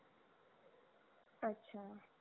अच्छा